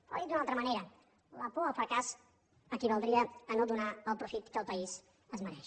o dit d’una altra manera la por al fracàs equivaldria a no donar el profit que el país es mereix